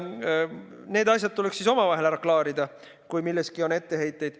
Need asjad tuleks siis omavahel ära klaarida, kui milleski on etteheiteid.